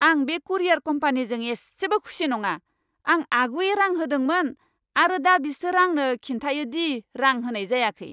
आं बे कुरियार कम्पानीजों एसेबो खुसि नङा। आं आगुयै रां होदोंमोन, आरो दा बिसोर आंनो खिन्थायो दि रां होनाय जायाखै!